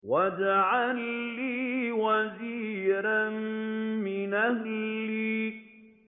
وَاجْعَل لِّي وَزِيرًا مِّنْ أَهْلِي